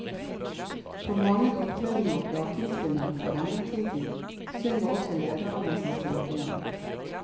På mange opptredener og plateinnspillinger fra denne tiden synger også lederen mens han spiller piano.